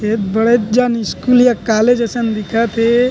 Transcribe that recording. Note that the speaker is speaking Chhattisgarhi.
ये बड़े जन स्कूल या कॉलेज असन दिखथे।